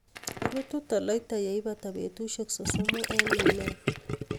Rutu toloita yeibata betusiek sosomu en minet.